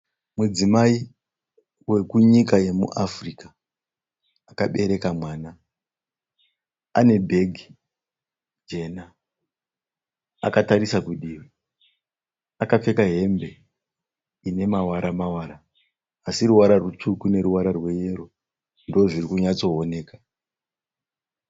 Mudzimai wekunyika yemuAfrica akabereka mwana, ane bhegi jena, akatarisa kudivi, akapfeka hembe inemavaramavara aSI ruvara rutsvuku neruchena ndizvo zvirikunatso oneka.